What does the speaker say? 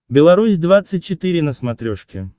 беларусь двадцать четыре на смотрешке